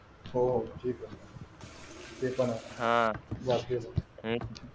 हो ते पण ते पण आहे वाचलेल आहे हा आणि एक